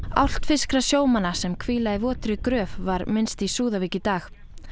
álftfirskra sjómanna sem hvíla í gröf var minnst í Súðavík í dag